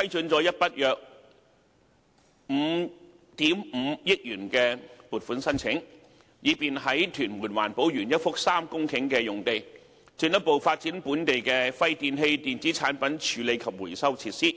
批准了一筆約5億 5,000 萬元的撥款申請，以便在屯門環保園一幅3公頃的用地，進一步發展本地的廢電器電子產品處理及回收設施。